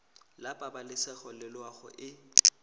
la pabalesego le loago e